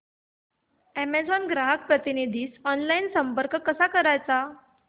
Amazon ग्राहक प्रतिनिधीस online संपर्क कसा करायचा